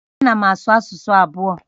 A na m asụ asụsụ abụọ